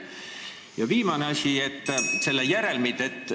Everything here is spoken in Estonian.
Ja viimane asi, selle järelmid.